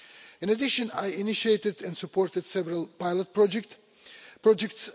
In addition, I initiated and supported several pilot projects.